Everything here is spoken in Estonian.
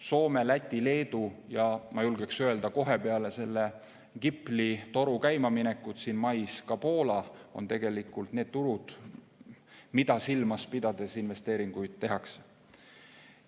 Soome, Läti, Leedu ja ma julgeksin öelda, kohe peale selle GIPL-i toru käimaminekut mais ka Poola on tegelikult need turud, mida silmas pidades investeeringuid tehakse.